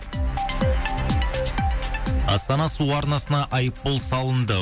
астана су арнасына айыппұл салынды